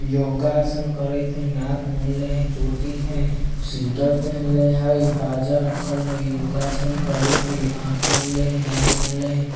योगा आसन करी थई नाक मुनले हई चोटी हई स्वेटर पेहेनले हई बाजा रखल हई योगा आसन करी थई आँख मुनले हई नाक मुनले हई --